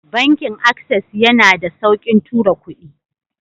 Banki access yana da saukin tura kudi.